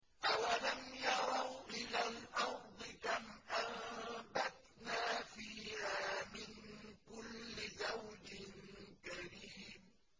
أَوَلَمْ يَرَوْا إِلَى الْأَرْضِ كَمْ أَنبَتْنَا فِيهَا مِن كُلِّ زَوْجٍ كَرِيمٍ